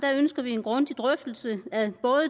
ønsker vi en grundig drøftelse af